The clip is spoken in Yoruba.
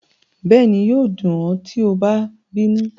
Bẹẹni, yoo dun ọ ti a ba binu